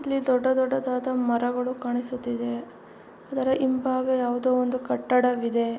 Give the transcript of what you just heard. ಇಲ್ಲಿ ದೊಡ್ಡ ದೊಡ್ಡದಾದ ಮರಗಳು ಕಾಣಿಸುತ್ತಿದೆ ಅದರ ಹಿಂಬಾಗ ಯಾವುದೋ ಒಂದು ಕಟ್ಟಡವಿದೆ.